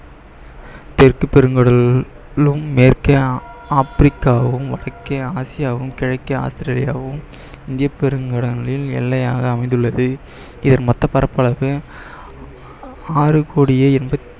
தெற்கு பெருங்கடலும் மேற்கே ஆ~ ஆப்பிரிக்காவும் வடக்கே ஆசியாவும் கிழக்கே ஆஸ்திரேலியாவும் இந்திய பெருங்கடலில் எல்லையாக அமைந்துள்ளது இதன் மொத்த பரப்பளவு ஆறு கோடியே